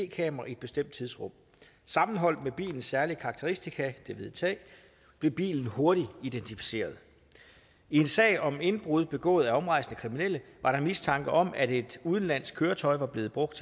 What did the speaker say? kamera i et bestemt tidsrum sammenholdt med bilens særlige karakteristika det hvide tag blev bilen hurtigt identificeret i en sag om indbrud begået af omrejsende kriminelle var der mistanke om at et udenlandsk køretøj var blevet brugt